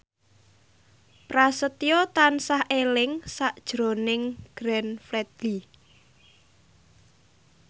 Prasetyo tansah eling sakjroning Glenn Fredly